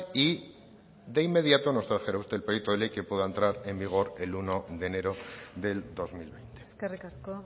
y de inmediato nos trajera usted el proyecto de ley que pueda entrar en vigor el uno de enero del dos mil veinte eskerrik asko